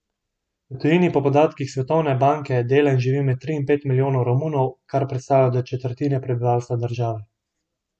V tujini po podatkih Svetovne banke dela in živi med tri in pet milijonov Romunov, kar predstavlja do četrtine prebivalstva države.